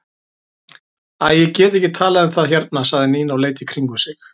Æ, ég get ekki talað um það hérna sagði Nína og leit í kringum sig.